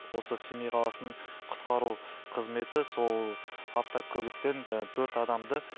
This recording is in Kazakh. осы семей қаласының құтқару қызметі сол автокөліктен жаңа төрт адамды